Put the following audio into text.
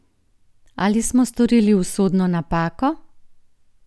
Ali smo storili usodno napako?